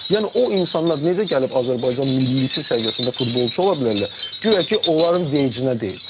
Yəni o insanlar necə gəlib Azərbaycan millisi səviyyəsində futbolçu ola bilərlər, guya ki, onların vecə deyil.